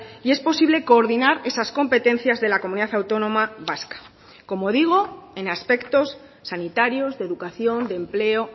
y es posible coordinar esas competencias de la comunidad autónoma vasca como digo en aspectos sanitarios de educación de empleo